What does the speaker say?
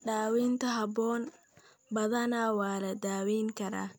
Daawaynta habboon, badanaa waa la daweyn karaa.